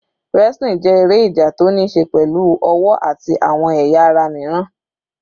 Wrestling jẹ́ eré ìjà tó níí ṣe pẹ̀lú ọwọ́ àti àwọn ẹ̀yà ara míràn.